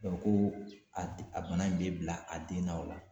ko a bana in bɛ bila a den na wa ?